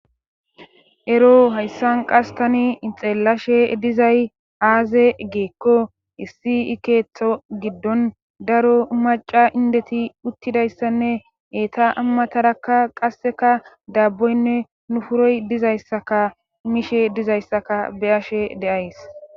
Ero hayssan qas tani ixeellashe dizay aaze geekko issi ikeetho giddon daro maca indeti uttidayssanne eeta ammatarakka qasseka daabboynne nufuroy dizayssaka miishe dizayssaka beyashe deays.